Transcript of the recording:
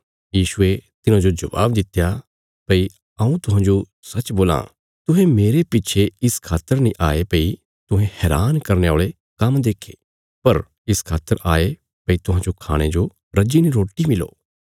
यीशुये तिन्हांजो जबाब दित्या भई हऊँ तुहांजो सच्च बोलां तुहें मेरे पिच्छे इस खातर नीं आये भई तुहें हैरान करने औल़े काम्म देखे पर इस खातर आये भई तुहांजो खाणे जो रज्जीने रोटी मिली